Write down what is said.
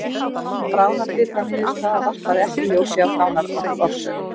Bráðabirgðaniðurstaða varpaði ekki ljósi á dánarorsök